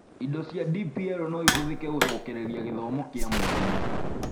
Indo cia DPL no ihũthĩke gũcokereria gĩthomo kĩa mwarimũ.